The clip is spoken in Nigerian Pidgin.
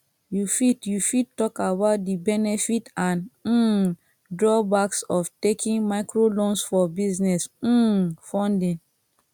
you fit you fit talk about di benefit and um drawbacks of taking microloans for business um funding